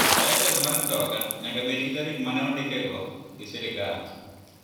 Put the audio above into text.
Lisens mar mtoka nyaka bed gi tarik mane ondike go gi sirkal.